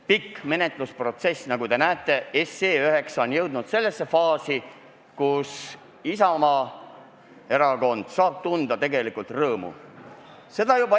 Nagu te näete, SE 9 menetlemise pikk protsess on jõudnud faasi, kus Isamaa erakond saab rõõmu tunda.